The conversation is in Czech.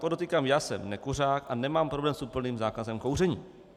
Podotýkám, já jsem nekuřák a nemám problém s úplným zákazem kouření.